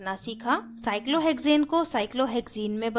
cyclohexane को cyclohexane में बदलना